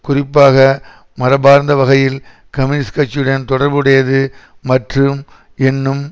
குறிப்பாக மரபார்ந்த வகையில் கம்யூனிஸ்ட் கட்சியுடன் தொடர்பு உடையது மற்றும் என்னும்